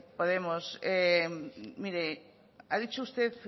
podemos mire ha dicho usted